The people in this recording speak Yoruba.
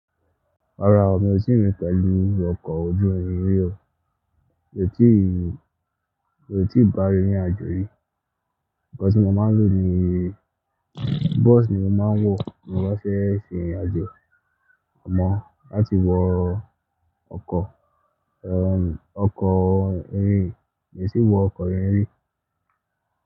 Rárá o, mi ò tí rin pẹ̀lú ọkọ̀ ojú irin rí o. Mi ò tí ì, mi ò tí ì bá rín ní àjọ yí. Ǹkan tí mo máa ń lò ni, bus ni mo máa ń wọ̀ tí mo bá fẹ́ rin ìrín ajọ. Àmọ́ láti wọ ọkọ̀, ẹ́, ọkọ̀ irin, mi ò tí ì wọ ọkọ̀ irin rí.